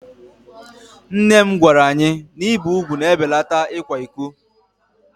Nne nne m gwara anyị na ibi úgwù na-ebelata ịkwa iko.